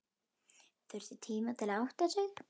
Þurfti tíma til að átta sig.